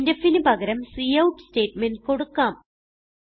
printfന് പകരം cout statement കൊടുക്കാം